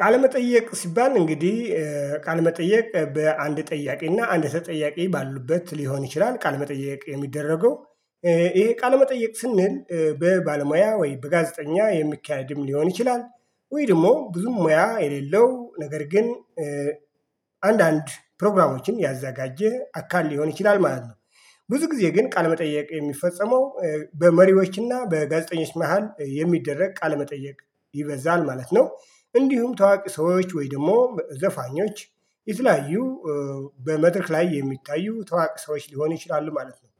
ቃል መጠየቅ ሲባል እንግዲህ ቃል መጠየቅ በአንድ ጠያቂ እና አንድ ተጠያቂ ባሉበት ሊሆን ይችላል ቃል መጠየቅ የሚደረገው። ይሄ ቃል መጠየቅ ስንል በባለሙያ ወይ በጋዜጠኛ የሚካሄድም ሊሆን ይችላል። ወይ ደግሞ ብዙ ሙያ የሌለው ነገር ግን አንዳንድ ፕሮግራሞችን ያዘጋጀ አካል ሊሆን ይችላል ማለት ነው። ብዙ ጊዜ ግን ቃል መጠየቅ የሚፈጸመው በመሪዎችና በጋዜጠኞች መሃል የሚደረግ ቃለመጠየቅ ይበዛል ማለት ነው። እንዲሁም ታዋቂ ሰዎች ወይም ደግሞ ዘፋኞች ይተላዩ በመድረክ ላይ የሚታዩ ታዋቂ ሰዎች ሊሆን ይችላሉ ማለት ነው።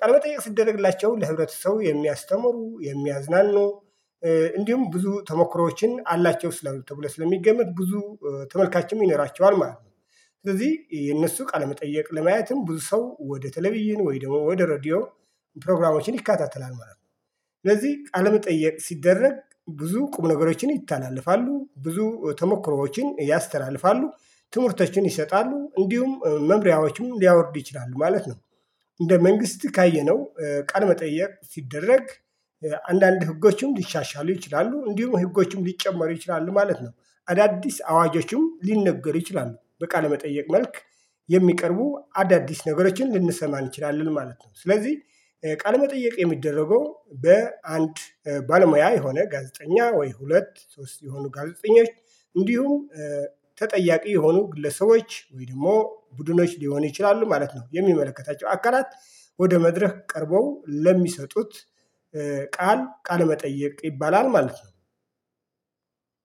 ቀል መጠየቅ ሲደረግላቸው ለህብረተሰቡ የሚያስተምሩ የሚያዝናኑ እንዲሁም ብዙ ተሞክሮዎችን አላቸው ስላሉ ተብለው ስለሚገመት ብዙ ተመልካችንም ይነራቸዋል ማለት ነው። ስለዚህ የእነሱ ቃለመጠየቅ ለማየትም ብዙ ሰው ወደ ተለቪዥን ወይም ደግሞ ወደ ሬድዮ ፕሮግራሞችን ይካተላል ማለት ነው። ስለዚህ አለመጠየቅ ሲደረግ ብዙ ቁም ነገሮችን ይተላለፋሉ ብዙ ተሞክሮዎችን ያስተላልፋሉ ትምህርቶችን ይሰጣሉ እንዲሁም መምሪያዎችም ሊያወርዱ ይችላሉ ማለት ነው። እንደ መንግስት ካየነው ቀን መጠየቅ ሲደረግ አንዳንድ ህጎችን ሊሻሻሉ ይችላሉ እንዲሁም ህጎችም ሊጨመሩ ይችላሉ ማለት ነው። አዳዲስ አዋጆችም ሊነገሩ ይችላሉ በቃ በቃለመጠየቅ መልክ የሚቀርቡ አዳዲስ ነገሮችን ልንሰማ እንችላለን ማለት ነው። ስለዚህ ቃለመጠየቅ የሚደረገው በአንድ ባለሙያ የሆነ ጋዜጠኛ ወይ ሁለት ሶስት የሆኑ ጋዜጠኞች እንዲሁ ተጠያቂ የሆኑ ግለሰቦች ወይ ደግሞ ቡድኖች ሊሆኑ ይችላሉ ማለት ነው። የሚመለከታቸው አቀራራት ወደ መድረክ ቀርበው ለሚሰጡት ቃል ቃል መጠየቅ ይባላል ማለት ነው።